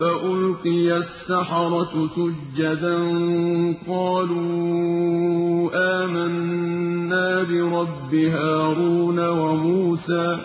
فَأُلْقِيَ السَّحَرَةُ سُجَّدًا قَالُوا آمَنَّا بِرَبِّ هَارُونَ وَمُوسَىٰ